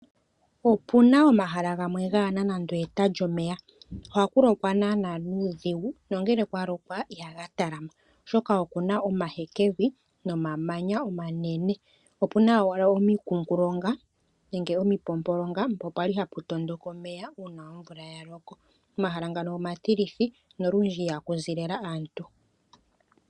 Opuna omahala gamwe gana nande eta lyomeya ohaku lokwa nana nuudhigu nongele kwalokwa ihaga talama ,oshoka okuna omahekevi no mamanya omanene opuna wala omikungalonga nenge omimpompolonga mpono kwali haputondoka omeya una omvula yaloko omahala ngano omatilithi nolundji ihakuzi lelah aantu.